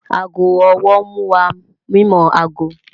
Aago ọwọ́ nmú wá mímọ aago